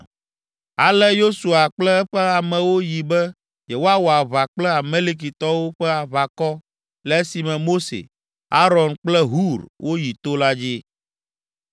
Ale Yosua kple eƒe amewo yi be yewoawɔ aʋa kple Amalekitɔwo ƒe aʋakɔ le esime Mose, Aron kple Hur woyi to la dzi.